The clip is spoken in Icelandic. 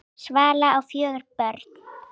Svala á fjögur börn.